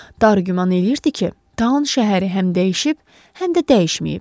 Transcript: Daro güman eləyirdi ki, Tan şəhəri həm dəyişib, həm də dəyişməyib.